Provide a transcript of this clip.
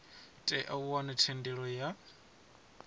tea u wana thendelo ya